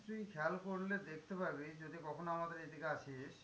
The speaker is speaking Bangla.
তুই খেয়াল করলে দেখতে পাবি যদি কখনো আমাদের এদিকে আসিস?